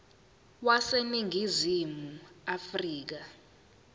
wase ningizimu afrika